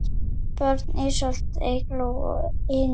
Börn: Ísold, Eygló og Einar.